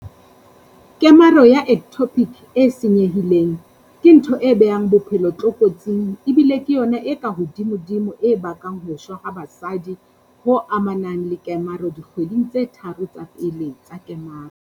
Kemaro ya ectopic e senye-hileng, ke ntho e beang bophelo tlokotsing ebile ke yona e kahodimodimo e bakang ho shwa ha basadi ho amanang le kemaro dikgweding tse tharo tsa pele tsa kemaro.